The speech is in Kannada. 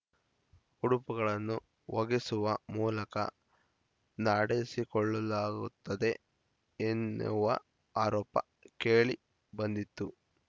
ಉಡುಪುಗಳನ್ನು ಒಗೆಸುವ ಮೂಲಕ ನಡೆಸಿಕೊಳ್ಳಲಾಗುತ್ತದೆ ಎನ್ನುವ ಆರೋಪ ಕೇಳಿಬಂದಿತ್ತು